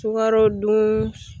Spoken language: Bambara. Sukarodun